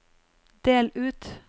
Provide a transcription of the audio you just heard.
del ut